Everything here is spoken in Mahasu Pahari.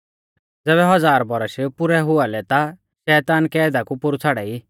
ज़ैबै हज़ार बौरश पुरै हुआ लै ता शैतान कैदा कु पोरु छ़ाड़ाई